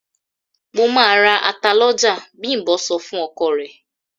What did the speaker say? "Mo máa ra ata lọ́jà", Bím̀bọ́ sọ fún ọkọ rẹ̀.